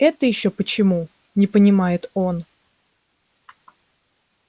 это ещё почему не понимает он